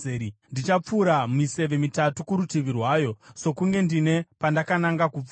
Ndichapfura miseve mitatu kurutivi rwayo, sokunge ndine pandakananga kupfura.